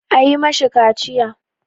A yi ma shi kaciya!